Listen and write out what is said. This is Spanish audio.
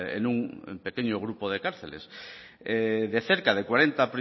en un en pequeño grupo de cárceles de cerca de cuarenta